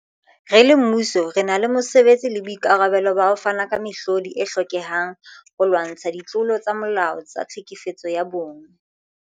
Re le mmuso, re na le mosebetsi le boikarabelo ba ho fana ka mehlodi e hlokehang holwantshwa ditlolo tsa molao tsa tlhekefetso ya bong.